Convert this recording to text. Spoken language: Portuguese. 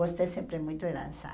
Gostei sempre muito de dançar.